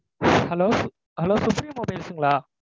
Hello, hello supreme mobiles ங்களா?